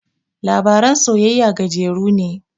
Labaran soyayya gajeru ne